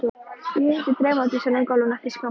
Ég hitti draumadísina á gólfinu eftir skamma stund.